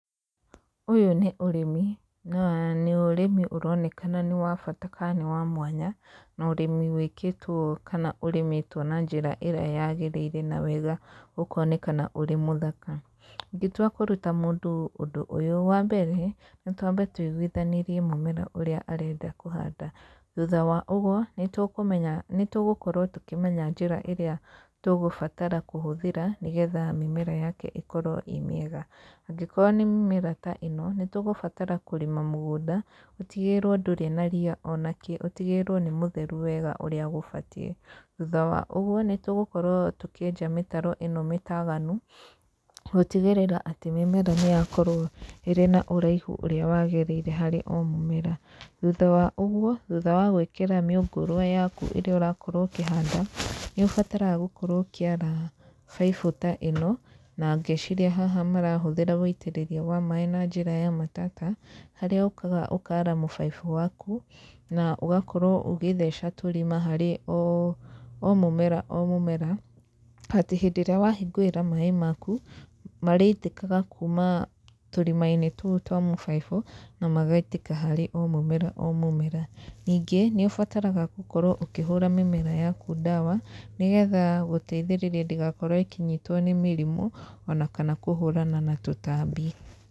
Ũyũ nĩ ũrĩmi na nĩ ũrĩmi ũronekana nĩ wa bata kana nĩ wa mwanya, na ũrĩmi wĩkĩtwo kana ũrĩmĩtwo na njĩra ĩrĩa yagĩrĩire na wega ũkonekana ũrĩ mũthaka. Ingĩtua kũruta mũndũ ũndũ ũyũ, wambere nĩ twambe tũigũithanĩrie mũmera ũrĩa arenda kũhanda, thutha wa ũguo nĩ tũkũmenya, nĩ tũgũkorwo tũkĩmenya njĩra ĩrĩa tũgũbatara kũhũthĩra nĩgetha mĩmera yake ĩkorwo ĩ mĩega, angĩkorwo nĩ mĩmera ta ĩno, nĩ tũgũbatara kũrĩma mũgũnda, ũtigĩrĩrwo ndũrĩ na ria onakĩ, ũtigĩrĩrwo nĩ mũtheru wega ũrĩa gũbatiĩ, thutha wa ũguo nĩ tũgũkorwo tũkĩenja mĩtaro ĩno mĩtaganu, gũtigĩrĩra atĩ mĩmera nĩ yakorwo ĩrĩ na ũraihu ũrĩa wagĩrĩire harĩ o mũmera, thutha wa ũguo, thutha wa gwĩkĩra mĩũngũrwa yaku ĩrĩa ũrakorwo ũkĩhanda, nĩ ũbataraga gũkorwo ũkĩara baibũ ta ĩno, na ngecira haha marahũthĩra wũitĩrĩria wa maĩ na njĩra ya matata, harĩa ũkaga ũkara mũbaibũ waku, na ũgakorwo ũgĩtheca tũrima harĩ o mũmera o mũmera, atĩ hĩndĩ ĩrĩa wahingũrĩra maĩ maku, marĩitĩkaga kuuma tũrima-inĩ tũu twa mũbaibũ, na magaitĩka harĩ o mũmera o mũmera, ningĩ nĩ ũbataraga gũkorwo ũkĩhũra mĩmera yaku ndawa, nĩgetha gũteithĩrĩra ndĩgakorwo ĩkĩnyitwo nĩ mĩrimũ, ona kana kũhũrana na tũtambi.